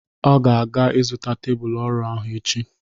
Ọ ga-aga ịzụta tebụl ọrụ ahụ echi.